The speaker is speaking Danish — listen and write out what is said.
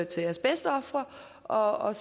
til asbestofre og